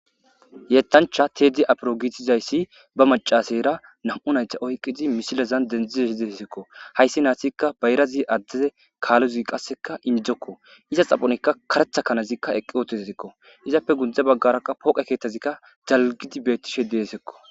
yettancha tedi apiro giitizayssi ba macaseyra nam7u nayta oyqidi misilazan dendzize hize hisekko hayssi naatikka bayrazi addeze kaalozi qasseka indzokko iza xaphonikka karetha kanazikka eqqi ootezetikko izappe gundza baggarakka pooqe keeththazikka dalgidi beettishe deesekko